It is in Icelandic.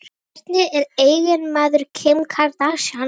Hver er eiginmaður Kim Kardashian?